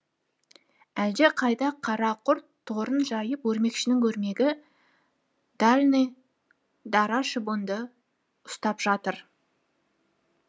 әлде қайда қара құрт торын жайып өрмекшінің өрмегі дальный дара шыбынды ұстап жатыр